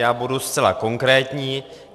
Já budu zcela konkrétní.